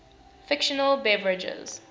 fictional beverages